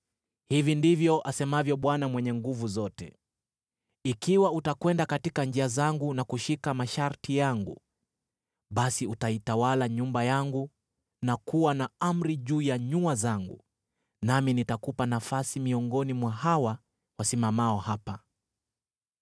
“Hivi ndivyo asemavyo Bwana Mwenye Nguvu Zote: ‘Ikiwa utakwenda katika njia zangu na kushika masharti yangu, basi utaitawala nyumba yangu na kuwa na amri juu ya nyua zangu, nami nitakupa nafasi miongoni mwa hawa wasimamao hapa.